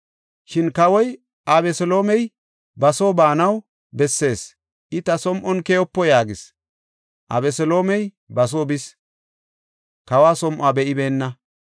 Shin kawoy, “Abeseloomey ba soo baanaw bessees; I ta som7on keyopo” yaagis. Abeseloomey ba soo bis; kawa som7uwa be7ibeenna.